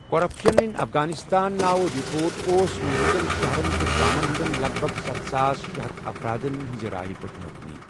Corruption اِن افغانستانَ ' نٲوِ رپوٹ اوس مٗلكہٕ كین شہرن تہٕ گامن ہندین لَگ بَھگ ستھ ساس شے ہتھَ افراد ن ہنزِ رایہ پیٹھ مبنی ۔